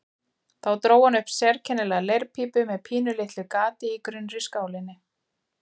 Þá dró hann upp sérkennilega leirpípu með pínulitlu gati í grunnri skálinni.